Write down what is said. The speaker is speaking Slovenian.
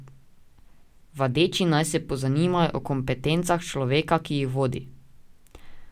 Vadeči naj se pozanimajo o kompetencah človeka, ki jih vodi.